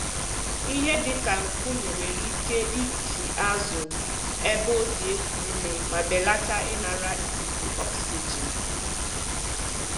Ihe dịka nkume nwere ike ịkpọchi azụ ebe o si eku ume ma belata ịnara ikuku ọksijin.